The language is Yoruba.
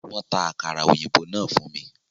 Wọ́n ta àkàrà òyìnbó náà fún mi